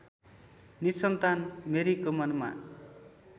निसन्तान मेरीको मनमा